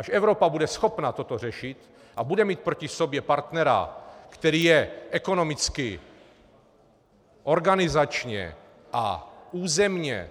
Až Evropa bude schopna toto řešit a bude mít proti sobě partnera, který je ekonomicky, organizačně a územně